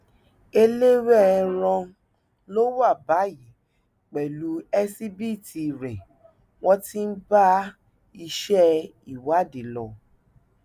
ẹlẹwẹẹran ló wà báyìí pẹlú ẹsíbìítì rẹ wọn ti ń bá iṣẹ ìwádìí lọ